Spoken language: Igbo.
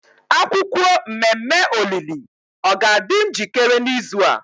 akwukwuo mmemme olili o ga adi njikere n'izu a?